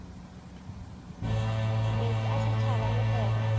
meetse a setšhaba le kgoro